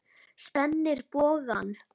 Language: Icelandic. Spennir bogann.